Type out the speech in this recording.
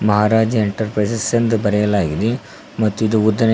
ಮಹಾರಾಜ Enterprises ಎಂದು ಬರೆಯಲಾಗಿದೆ ಮತ್ತು ಇದು ಉದ್ದನೆಯ.